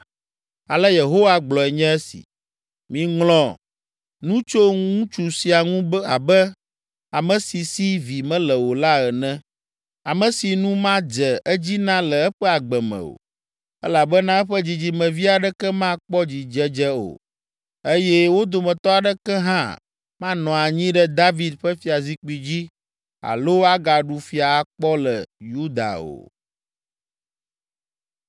Ale Yehowa gblɔe nye esi: “Miŋlɔ nu tso ŋutsu sia ŋu abe ame si si vi mele o la ene, ame si nu madze edzi na le eƒe agbe me o; elabena eƒe dzidzimevi aɖeke makpɔ dzidzedze o, eye wo dometɔ aɖeke hã manɔ anyi ɖe David ƒe fiazikpui dzi alo agaɖu fia akpɔ le Yuda o.”